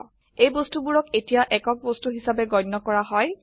এই বস্তুবোৰক এতিয়া একক বস্তু হিসাবে গন্য কৰা হয়